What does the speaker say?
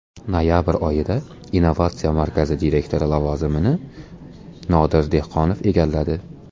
Noyabr oyida innovatsiya markazi direktori lavozimini Nodir Dehqonov egalladi.